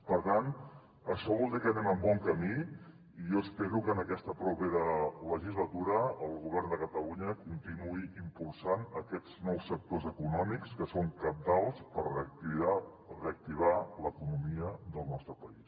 per tant això vol dir que anem en bon camí i jo espero que en aquesta propera legislatura el govern de catalunya continuï impulsant aquests nous sectors econòmics que són cabdals per reactivar l’economia del nostre país